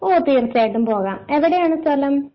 ഓ തീർച്ചയായിട്ടും പോകാം എവിടെയാണ് സ്ഥലം?